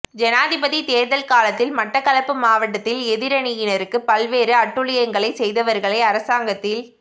ஜனாதிபதி தேர்தல் காலத்தில் மட்டக்களப்பு மாவட்டத்தில் எதிரணியினருக்கு பல்வேறு அட்டூழியங்களை செய்தவர்களை அரசாங்கத்தில்